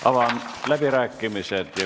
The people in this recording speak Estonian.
Avan läbirääkimised.